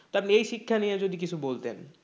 তা আপনি এই শিক্ষা নিয়ে যদি কিছু বলতেন